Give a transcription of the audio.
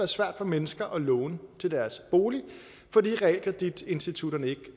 svært for mennesker at låne til deres bolig fordi realkreditinstitutterne ikke